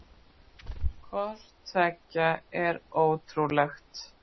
Hvort tveggja er ótrúlegt.